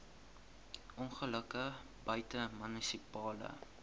ongelukke buite munisipale